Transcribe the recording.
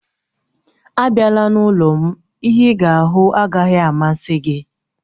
Abịala n'ụlọ m, ihe ịga ahụ agaghị amasị gị